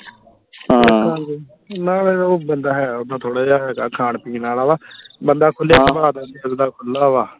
ਮੈਂ ਕਿਹਾ ਉਹ ਬੰਦਾ ਹੈ ਉੱਦਾਂ ਥੋੜਾ ਜਿਹਾ ਹੈਗਾ ਖਾਣ ਪੀਣ ਆਲਾ ਬੰਦਾ ਖੁੱਲੇ ਸੁਬਾਹ ਦਾ ਦਿਲ ਦਾ ਖੁੱਲ੍ਹਾ ਵਾ